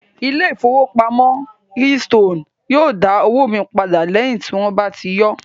Ilé ìfowópamọ́ keystone yóò dá owó mi padà lẹ́yìn tí wón bá yọọ́